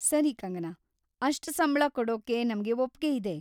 ಸರಿ ಕಂಗನಾ, ಅಷ್ಟ್ ಸಂಬ್ಳ ಕೊಡೋಕೆ ನಮ್ಗೆ ಒಪ್ಗೆ ಇದೆ.